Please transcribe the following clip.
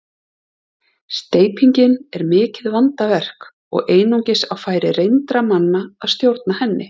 Steypingin er mikið vandaverk og einungis á færi reyndra manna að stjórna henni.